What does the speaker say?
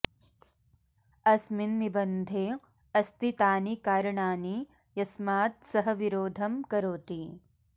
अस्मिन् निबन्धे अस्ति तानि कारणानि यस्मात् सः विरोधं करोति